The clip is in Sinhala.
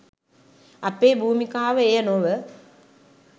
අපේ භූමිකාව එය නොව